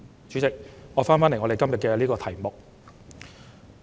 主席，說回今天的議案題目。